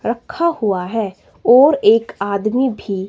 रखा हुआ है और एक आदमी भी--